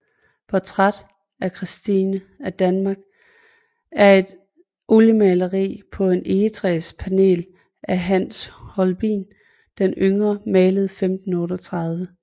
Portræt af Christine af Danmark er et oliemaleri på et egetræspanel af Hans Holbein den yngre malet i 1538